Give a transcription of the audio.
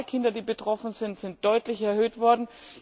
Die Zahl der Kinder, die betroffen sind, ist deutlich erhöht worden.